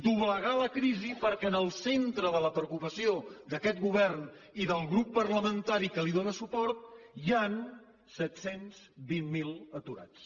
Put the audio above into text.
doblegar la crisi perquè en el centre de la preocupació d’aquest govern i del grup parlamentari que li dóna suport hi han set cents i vint miler aturats